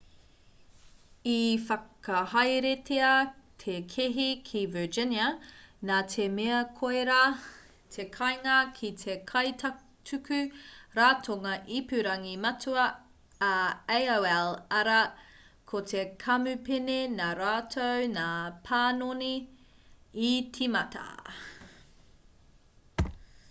i whakahaeretia te kēhi ki virginia nā te mea koirā te kāinga ki te kaituku ratonga ipurangi matua a aol arā ko te kamupene nā rātou ngā panoni i tīmata